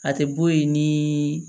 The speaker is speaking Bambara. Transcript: A tɛ bɔ ye ni